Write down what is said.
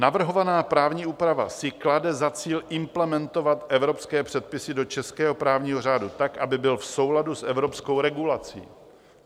Navrhovaná právní úprava si klade za cíl implementovat evropské předpisy do českého právního řádu tak, aby byl v souladu s evropskou regulací.